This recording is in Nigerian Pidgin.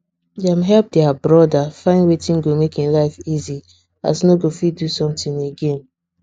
dem help their brother find wetin go make hin life easy as no go fit do something again